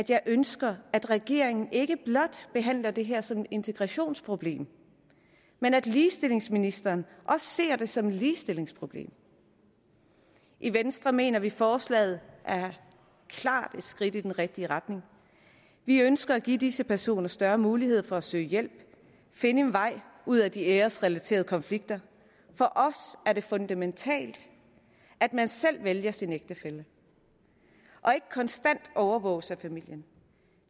jeg ønsker at regeringen ikke blot behandler det her som et integrationsproblem men at ligestillingsministeren også ser det som et ligestillingsproblem i venstre mener vi forslaget klart er et skridt i den rigtige retning vi ønsker at give disse personer større mulighed for at søge hjælp finde en vej ud af de æresrelaterede konflikter for os er det fundamentalt at man selv vælger sin ægtefælle og ikke konstant overvåges af familien